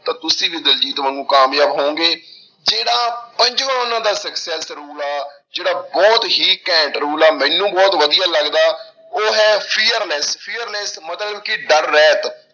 ਤਾਂ ਤੁਸੀਂ ਵੀ ਦਲਜੀਤ ਵਾਂਗੂ ਕਾਮਯਾਬ ਹੋਵੋਂਗੇ, ਜਿਹੜਾ ਪੰਜਵਾਂ ਉਹਨਾਂ ਦਾ success rule ਆ, ਜਿਹੜਾ ਬਹੁਤ ਹੀ ਘੈਂਟ rule ਆ ਮੈਨੂੰ ਬਹੁਤ ਵਧੀਆ ਲੱਗਦਾ, ਉਹ ਹੈ fearless, fearless ਮਤਲਬ ਕਿ ਡਰ ਰਹਿਤ,